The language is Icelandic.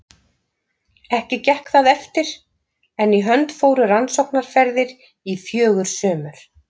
Ekki gekk það eftir, en í hönd fóru rannsóknaferðir í fjögur sumur.